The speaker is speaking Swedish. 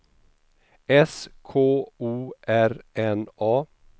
S K O R N A